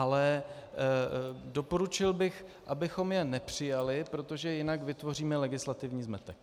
Ale doporučil bych, abychom je nepřijali, protože jinak vytvoříme legislativní zmetek.